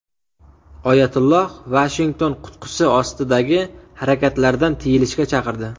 Oyatulloh Vashington qutqusi ostidagi harakatlardan tiyilishga chaqirdi.